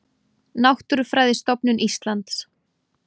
Náttúrufræðistofnun Íslands.